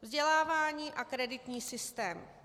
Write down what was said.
Vzdělávání a kreditní systém.